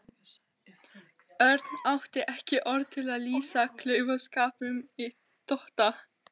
Örn átti ekki orð til að lýsa klaufaskapnum í Tóta.